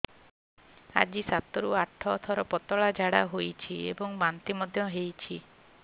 ଆଜି ସାତରୁ ଆଠ ଥର ପତଳା ଝାଡ଼ା ହୋଇଛି ଏବଂ ବାନ୍ତି ମଧ୍ୟ ହେଇଛି